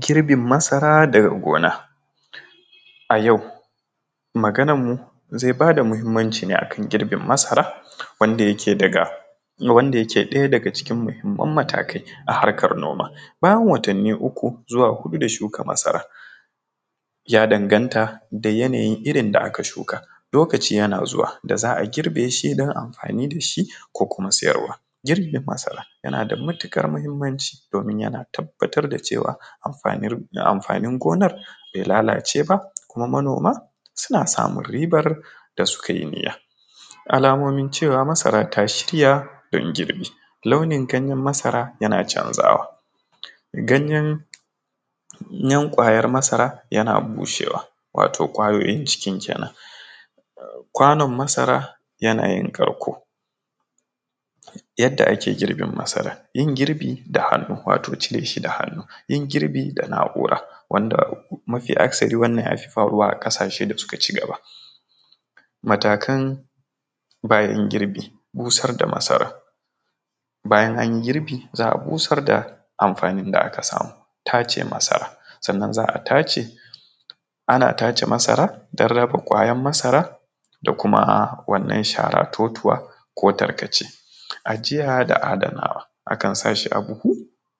Girbin masara daga gona a yau maganar mu zai ba da muhimmanci ga girbin masara wanda yake ɗaya daga cikin muhimman matakai a harkan noma bayan watani uku zuwa huɗu da shuka masara ya danganta da yanayin irin da aka shuka lokaci yana zuwa da za a girbe shi idan amfanin da shi ko kuma siyarwa girbin masara, yana da mutukar muhimmanci domin yana tabbatar da cewa amfanin gonar bai lalace ba, kuma manoma suna samun ribar da suka yi niyya, alamomin cewa masara ta shirya dan girbi launin ganyen masara yana canzawa ganyen kwayar masara yana bushewa wato ƙwayoyin cikin kenan, kwanon masara yana yin karko yadda ake girbe masara yin girbi da hannu wato cire shi da hannu yin girbi da na’ura wanda mafi akasari wannan yafi faruwa a ƙasashe da suka cigaba, matakan bayan girbi busar da masara bayan anyi girbi za a busar da amfanin da aka samu tace masara sannan za a tace ana tace masara dan raba ƙwayar masara da kuma wannan sharar totuwa ko tarkace ajiya da adana akan sashi a buhu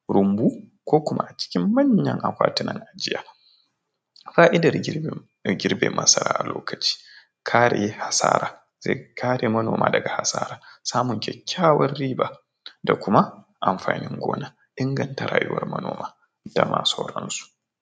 rumbu ko kuma a cikin manyan akwati nan ajiya, fa’idar girbe masara a lokacin kare asara zai kare manoma daga asara, samun kyakyawan riba da kuma amfanin gona, inganta rayuwar manoma da da dai sauran su.